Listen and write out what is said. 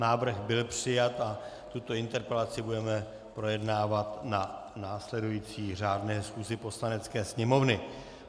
Návrh byl přijat a tuto interpelaci budeme projednávat na následující řádné schůzi Poslanecké sněmovny.